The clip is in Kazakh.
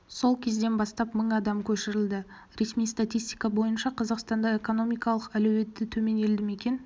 сол кезден бастап мың адам көшірілді ресми статистика бойынша қазақстанда экономикалық әлеуеті төмен елді мекен